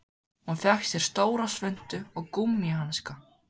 Hún fékk stóra svuntu og gúmmíhanska.